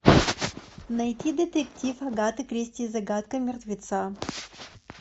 найти детектив агаты кристи загадка мертвеца